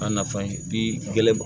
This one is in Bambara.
A nafa ye bi gɛlɛn